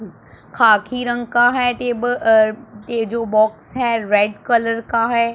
खाकी रंग का है टेबल अह ये जो बॉक्स है रेड कलर का है।